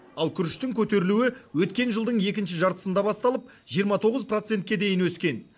ал күріштің көтерілуі өткен жылдың екінші жартысында басталып жиырма тоғыз процентке дейін өскен